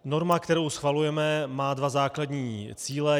Norma, kterou schvalujeme, má dva základní cíle.